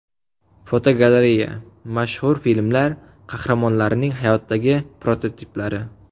Fotogalereya: Mashhur filmlar qahramonlarining hayotdagi prototiplari.